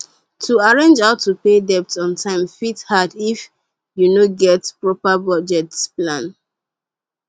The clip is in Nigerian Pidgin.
to arrange how to pay debt on time fit hard if you no get proper budget plan